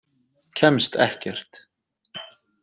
Kemst ekkert.